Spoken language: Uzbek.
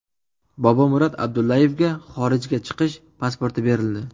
Bobomurod Abdullayevga xorijga chiqish pasporti berildi.